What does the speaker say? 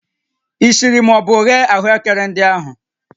Ị siri ma ọ bụ ghee ahụekere ndị ahụ?